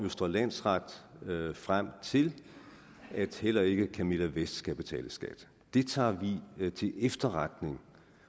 østre landsret frem til at heller ikke camilla vest skal betale skat det tager vi til efterretning